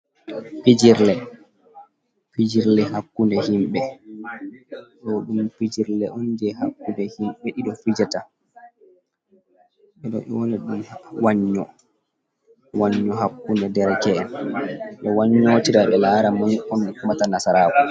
Fijirde, fijirle hakkunde himɓe, ɗo ɗum fijirle on je hakkunde himɓe ɗiɗo fijata, ɓeɗo nyo na ɗom Wan nyo, Wan nyo hakku nde dereke’en, ɓe Wan nyo tira be lara moi on heɓata nasarako.